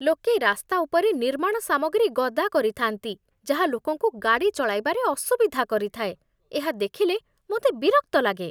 ଲୋକେ ରାସ୍ତା ଉପରେ ନିର୍ମାଣ ସାମଗ୍ରୀ ଗଦା କରିଥାନ୍ତି, ଯାହା ଲୋକଙ୍କୁ ଗାଡ଼ି ଚଳାଇବାରେ ଅସୁବିଧା କରିଥାଏ, ଏହା ଦେଖିଲେ ମୋତେ ବିରକ୍ତ ଲାଗେ।